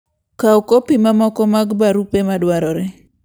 Kaw kopi mamoko mag barupe madwarore.